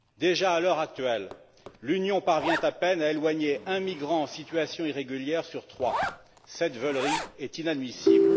Déjà à l'heure actuelle, l'Union parvient à peine à éloigner un migrant en situation irrégulière sur trois cette veulerie est inadmissible.